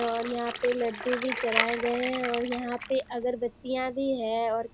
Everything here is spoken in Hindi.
और यहाँ पे लड्डू भी चढ़ाए गए है और यहाँ पे अगरबत्तियाँ भी हैं और --